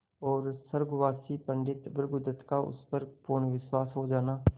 और स्वर्गवासी पंडित भृगुदत्त का उस पर पूर्ण विश्वास हो जाना